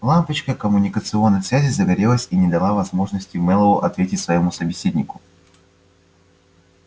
лампочка коммуникационной связи загорелась и не дала возможности мэллоу ответить своему собеседнику